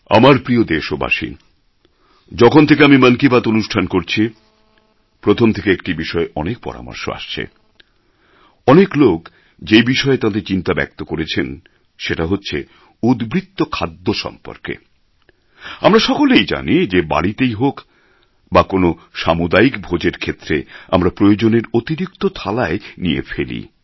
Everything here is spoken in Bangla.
আমার প্রিয় দেশবাসী যখন থেকে আমি মন কি বাত অনুষ্ঠান করছি প্রথম থেকে একটি বিষয়ে অনেক পরামর্শ আসছে অনেক লোক যে বিষয়ে তাঁদের চিন্তা ব্যক্ত করেছেন সেটা হচ্ছে উদ্বৃত্ত খাদ্য সম্পর্কে আমরা সকলেই জানি যে বাড়িতেই হোক বা কোনও সামুদায়িক ভোজের ক্ষেত্রে আমরা প্রয়োজনের অতিরিক্ত থালায় নিয়ে ফেলি